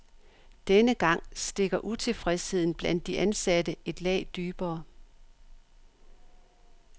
Denne gang stikker utilfredsheden blandt de ansatte et lag dybere.